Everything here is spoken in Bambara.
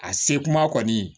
A se kuma kɔni